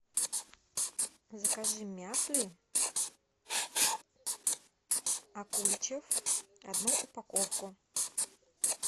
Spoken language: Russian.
закажи мяфли акульчев одну упаковку